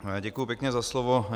Děkuji pěkně za slovo.